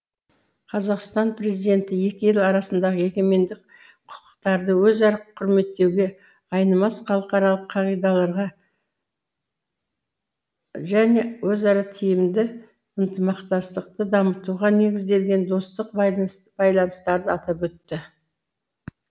қазақстан президенті екі ел арасындағы егемендік құқықтарды өзара құрметтеуге айнымас халықаралық қағидаларға және өзара тиімді ынтымақтастықты дамытуға негізделген достық байланыстарды атап өтті